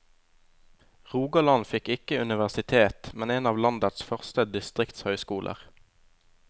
Rogaland fikk ikke universitet, men en av landets første distriktshøyskoler.